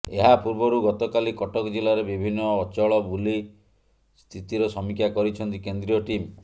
ଏହାପୂର୍ବରୁ ଗତକାଲି କଟକ ଜିଲ୍ଲାରେ ବିଭିନ୍ନ ଅଚଳ ବୁଲି ସ୍ଥିତିର ସମୀକ୍ଷା କରିଛନ୍ତି କେନ୍ଦ୍ରୀୟ ଟିମ୍